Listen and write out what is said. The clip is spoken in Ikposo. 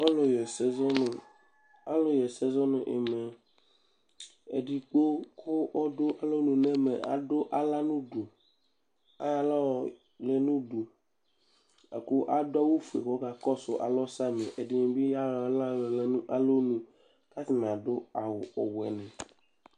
ɔlʊlʊ ɛdɩ dʊ adʊ axla nʊ ʊdʊ adʊ awʊ fʊe kʊ ɔka kɔsʊ alɔ samɩ ɛdɩ bɩ ka kɔsʊ alɔ adʊ awʊ woɛ